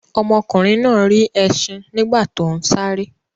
Ọmọkùnrin náà rí ẹṣin nígbà tó ń sáré.